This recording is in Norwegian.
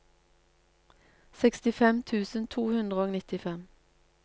sekstifem tusen to hundre og nittifem